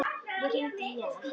Ég hringdi í hann.